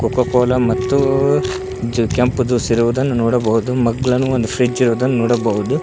ಕೋಕ cola ಮತ್ತು ಜು ಕೆಂಪು ಜ್ಯೂಸು ಇರುವದನ್ನು ನೋಡಬಹುದು ಮಗ್ಗಲನು ಒಂದು ಫ್ರಿಡ್ಜ್ ಇರುದನ್ನು ನೋಡಬಹುದು.